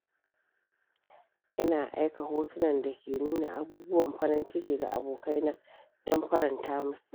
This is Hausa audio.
Ina aika hotunan da ke nuna abubuwan farin ciki ga abokaina don faranta musu.